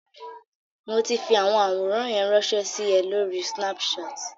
Mo ti fi àwọn àwòrán yẹn ránṣẹ́ sí ẹ lóri Snapchat.